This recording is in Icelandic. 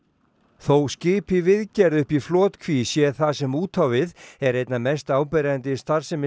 þó skip í viðgerð uppi í flotkví sé það sem út á við er einna mest áberandi í starfsemi